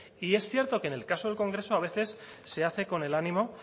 y es cierto que en el caso del congreso a veces se hace con el ánimo